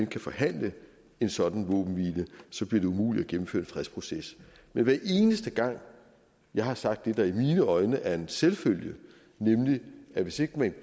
kan forhandle en sådan våbenhvile bliver det umuligt at gennemføre en fredsproces men hver eneste gang jeg har sagt det der i mine øjne er en selvfølge nemlig at hvis ikke man